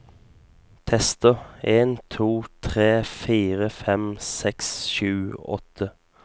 Tester en to tre fire fem seks sju åtte